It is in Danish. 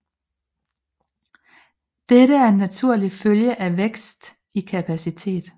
Dette er en naturlig følge af vækst i kapacitet